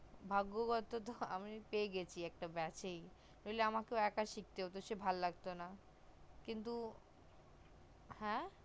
ভাগ্যব তো আমি একটা পেয়ে গেছি একটা beach সেই নাহলে আমাকে একই শিখতে সে হতো ভাল লাগতো না কিন্ত হ্যা